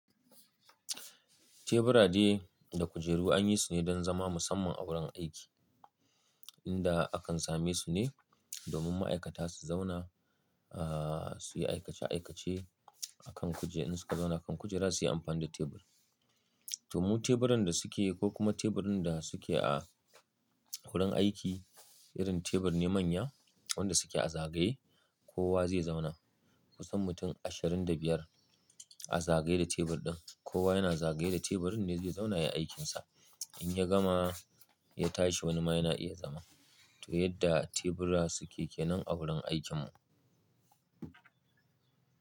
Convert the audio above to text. Tebura dai da kujeru an yi su ne don zama musamman a wurin aiki. Inda akan same su ne domin ma'aikata su zauna, ah, su yi aikace-aikace a kan kujeru in su ka zauna kan kujera su yi amfani da tebur. To mu teburin da suke ko kuma teburin da suke a wurin aiki irin tebur ne manya wanda suke a zagaye kowa zai zauna. Kusan mutum ashirin da biyar a zagaye da tebur ɗin. Kowa yana zagaye da teburin ne zai zauna ya yi aikinsa. In ya gama ya tashi wani ma yana iya zama. To yadda tebura suke kenan a wurin aikin mu.